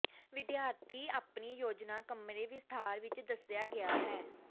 ਵਿਦਿਆਰਥੀ ਆਪਣੀ ਯੋਜਨਾ ਕਮਰੇ ਵਿਸਥਾਰ ਵਿੱਚ ਦੱਸਿਆ ਗਿਆ ਹੈ